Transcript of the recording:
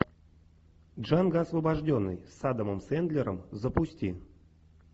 джанго освобожденный с адамом сэндлером запусти